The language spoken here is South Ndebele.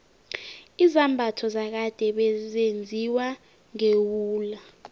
izambatho zakade bezenziwa ngewula